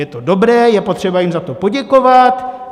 Je to dobré, je potřeba jim za to poděkovat.